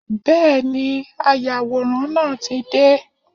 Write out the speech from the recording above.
Bẹ́ẹ̀ni, ayàwòrán náà tí dé.